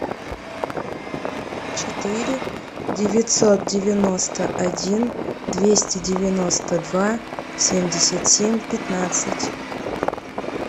четыре девятьсот девяносто один двести девяносто два семьдесят семь пятнадцать